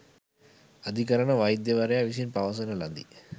අධිකරණ වෛද්‍යවරයා විසින් පවසන ලදී